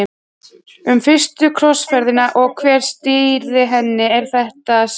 Um fyrstu krossferðina og hver stýrði henni er þetta að segja.